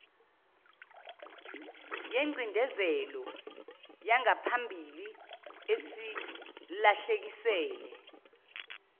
yengcindezelo yangaphambili esilahlekisele